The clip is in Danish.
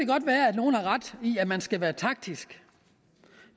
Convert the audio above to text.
godt være at nogle har ret i at man skal være taktisk